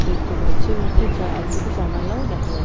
দেখতে পাচ্ছি এবং একটি চা এক দুটি জানালা ও দেখা যা--